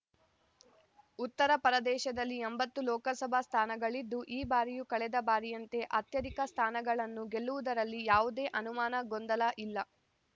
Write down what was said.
ಉತ್ತರ ಪ್ರದೇಶದಲ್ಲಿ ಎಂಬತ್ತು ಲೋಕಸಭಾ ಸ್ಥಾನಗಳಿದ್ದು ಈ ಬಾರಿಯೂ ಕಳೆದ ಬಾರಿಯಂತೆ ಅತ್ಯಧಿಕ ಸ್ಥಾನಗಳನ್ನು ಗೆಲ್ಲುವುದರಲ್ಲಿ ಯಾವುದೇ ಅನುಮಾನ ಗೊಂದಲ ಇಲ್ಲ